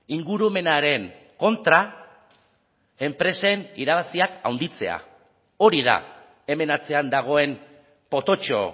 ingurumenaren kontra enpresen irabaziak handitzea hori da hemen atzean dagoen pototxo